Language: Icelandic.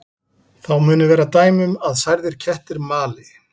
Þá munu vera dæmi um að særðir kettir mali.